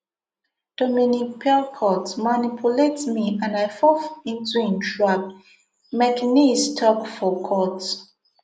dominique pelicot manipulate me and i fall into im trap mekenese tok for court